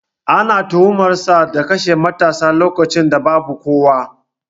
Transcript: Ana tuhumar sa da kashe matarsa lokacin da babu kowa